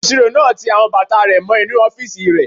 Olùsirò náà ti àwọn bàtà rẹ̀ mọ́ inú ọ́fìsì rẹ̀